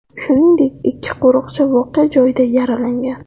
Shuningdek, ikki qo‘riqchi voqea joyida yaralangan.